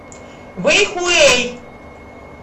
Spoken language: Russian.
вэйхуэй